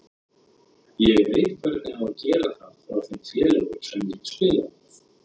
Ég veit hvernig á að gera það frá þeim félögum sem ég hef spilað með.